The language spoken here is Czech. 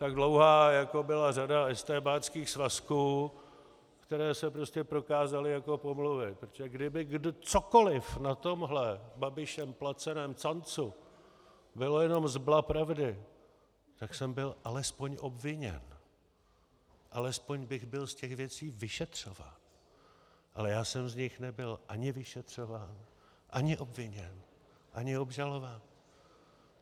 Tak dlouhá, jako byla řada estébáckých svazků, které se prostě prokázaly jako pomluvy, protože kdyby cokoliv na tomhle Babišem placeném cancu bylo jenom zbla pravdy, tak jsem byl alespoň obviněn, alespoň bych byl z těch věcí vyšetřován, ale já jsem z nich nebyl ani vyšetřován, ani obviněn, ani obžalován.